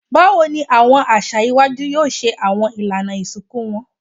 Bawo ni awọn aṣa iwaju yoo ṣe awọn ilana isinku wọn?